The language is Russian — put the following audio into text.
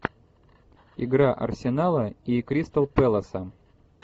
игра арсенала и кристал пэласа